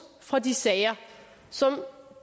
fra de sager som